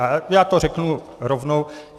A já to řeknu rovnou.